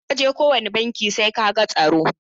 Idan ka je kowane banki sai ka ga tsaro.